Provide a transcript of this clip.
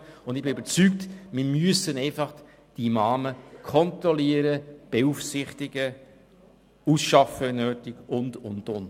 Ich bin überzeugt, dass wir Imame einfach kontrollieren, beaufsichtigen und wenn nötig ausschaffen müssen und, und, und.